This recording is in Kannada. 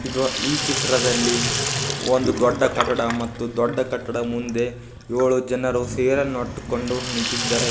ಇದು ಈ ಚಿತ್ರದಲ್ಲಿ ಒಂದು ದೊಡ್ಡ ಕಟ್ಟಡ ಮತ್ತು ದೊಡ್ಡ ಕಟ್ಟಡ ಮುಂದೆ ಯೋಳು ಜನರು ಸೀರೆಯನ್ನುಟ್ಟುಕೊಂಡು ನಿಂತಿದ್ದಾರೆ ಇದ --